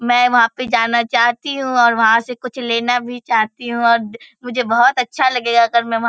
मैं वहाँ पे जाना चाहती हूँ और वहाँ से कुछ लेना भी चाहती हूँ और मुझे बहुत अच्छा लगेगा अगर मैं वहाँ --